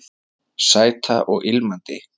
Sæta og ilmandi